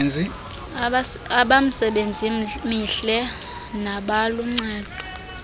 abamisebenzi mihle nabaluncedo